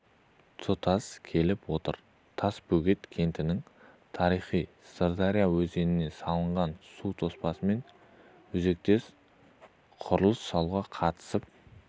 тұстас келіп отыр тасбөгет кентінің тарихы сырдария өзеніне салынған су тоспасымен өзектес құрылыс салуға қатысып